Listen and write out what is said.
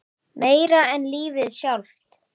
Meira en lífið sjálft.